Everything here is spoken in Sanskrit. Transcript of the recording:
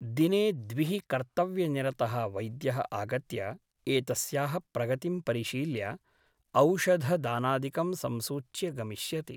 दिने द्विः कर्तव्यनिरतः वैद्यः आगत्य एतस्याः प्रगतिं परिशील्य औषध दानादिकं संसूच्य गमिष्यति ।